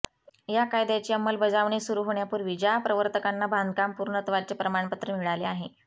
या कायद्याची अंमलबजावणी सुरु होण्यापूर्वी ज्या प्रवर्तकांना बांधकाम पूर्णत्वाचे प्रमाणपत्र मिळाले आहे